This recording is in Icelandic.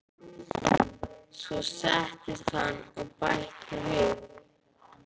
Svo settist hann og bætti við